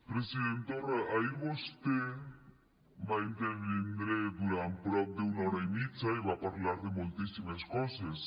president torra ahir vostè va intervindre durant prop d’una hora i mitja i va parlar de moltíssimes coses